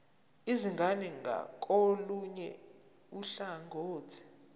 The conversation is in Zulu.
izingane ngakolunye uhlangothi